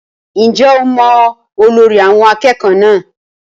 Ǹjẹ́ o mọ olórí àwọn akẹ́kọ̀ọ́ náà?